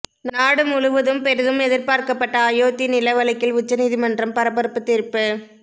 நாடு முழுவதும் பெரிதும் எதிர்பார்க்கப்பட்ட அயோத்தி நில வழக்கில் உச்ச நீதிமன்றம் பரபரப்பு தீர்ப்பு